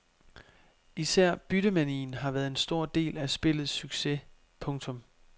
Især byttemanien har været en stor del af spillets succes. punktum